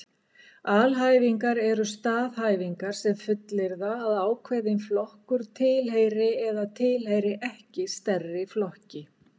Alhæfingar eru staðhæfingar sem fullyrða að ákveðinn flokkur tilheyri eða tilheyri ekki stærri flokki.